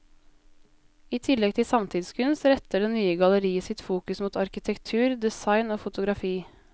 I tillegg til samtidskunst retter det nye galleriet sitt fokus mot arkitektur, design og fotografi.